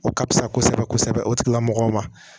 O ka fisa kosɛbɛ kosɛbɛ o tigilamɔgɔw ma